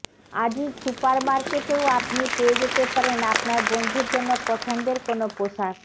Aziz super মার্কেটেও আপনি পেয়ে যেতে পারেন আপনার বন্ধুর জন্য পছন্দের কোনো পোশাক